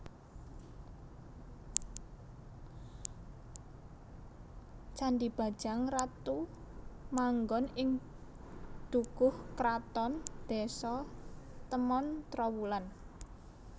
Candhi Bajang Ratu manggon ing Dukuh Kraton Désa Temon Trowulan